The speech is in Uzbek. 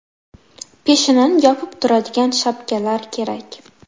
Peshanani yopib turadigan shapkalar kerak.